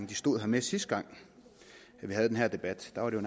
de stod her med sidste gang vi havde den her debat der var det